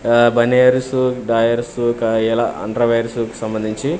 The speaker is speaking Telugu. ఆ బనియర్సు డాయర్సు ఎలా అండర్ వేర్స్ కి సంబంధించి.